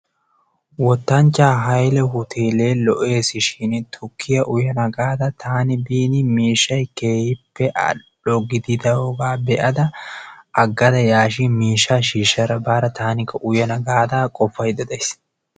Wttanchchaaa Haylee hoteele lo"ees shin tukkiya uyana gaada taani biini miishshay keehippe al"o gididogaa beadda agadda yaashshiin miishshaa shiishshada baara taanikka uyana gaada qoppaydda days.